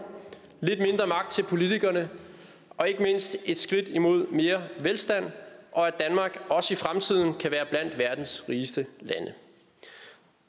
lidt mindre magt til politikerne og ikke mindst et skridt imod mere velstand og at danmark også i fremtiden kan være blandt verdens rigeste lande